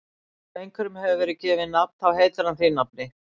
Ef einhverjum hefur verið gefið nafn þá heitir hann því nafni.